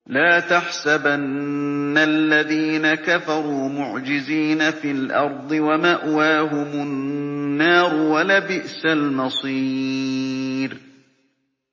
لَا تَحْسَبَنَّ الَّذِينَ كَفَرُوا مُعْجِزِينَ فِي الْأَرْضِ ۚ وَمَأْوَاهُمُ النَّارُ ۖ وَلَبِئْسَ الْمَصِيرُ